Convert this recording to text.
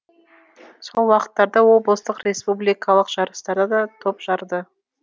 сол уақыттарда облыстық республикалық жарыстарда топ жарды